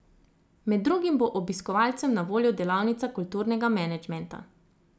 Med drugim bo obiskovalcem na voljo delavnica kulturnega menedžmenta.